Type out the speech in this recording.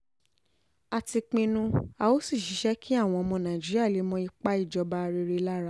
a ti pinnu a ó sì ṣiṣẹ́ kí àwọn ọmọ nàìjíríà lè mọ ipa ìjọba rere lára